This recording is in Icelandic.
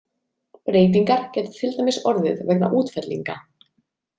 Breytingar geta til dæmis orðið vegna útfellinga.